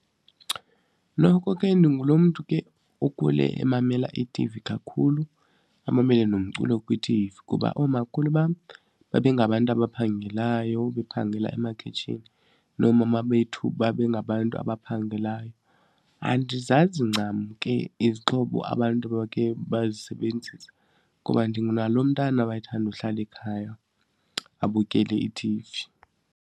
Noko ke ndingulo mntu ke okhule emamela itivi kakhulu amamele nomculo kwitivi kuba oomakhulu bam babe ngabantu abaphangelayo, bephangela emakhitshini noomama bethu babe ngabantu abaphangelayo. Andizazi ncam ke izixhobo abantu abake bazisebenzisa ngoba nalo mntana owayethanda uhlala ekhaya abukele itivi.